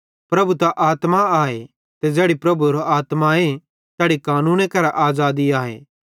प्रभु त आत्मा आए ते ज़ैड़ी भी प्रभुएरो आत्माए तैड़ी कानूने करां आज़ादी आए